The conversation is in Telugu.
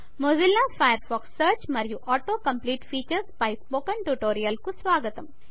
మొజిల్లా ఫయర్ ఫాక్స్ సర్చ్ మరియు ఆటో కంప్లీట్ ఫీచర్స్ పై స్పోకెన్ ట్యుటోరియల్కు స్వాగతం